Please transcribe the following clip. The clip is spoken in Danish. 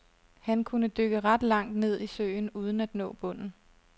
Han kunne dykke ret langt ned i søen uden at nå bunden.